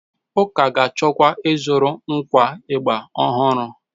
Ụka ga-achọkwa ịzụrụ ngwa ịgbà ọhụrụ.